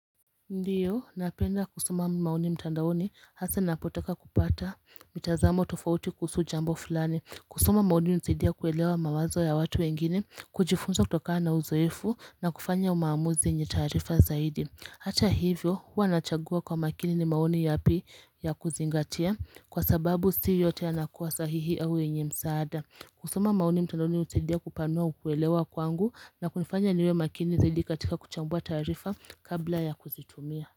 Ndiyo napenda kusoma maoni mtandaoni hasa napotaka kupata mitazamo tofauti kuhusu jambo fulani kusoma maoni unisidia kuelewa mawazo ya watu wengine kujifunza kutoka na uzoefu na kufanya umaamuzi yenye taarifa zaidi Hata hivyo huwa nachagua kwa makini ni maoni ya pi ya kuzingatia kwa sababu si yote ya nakuwa sahihi au enye msaada kusoma mauni mtandauni utedia kupanua ukuelewa kwangu na kunifanya niwe makini zaidi katika kuchambua taarifa kabla ya kuzitumia.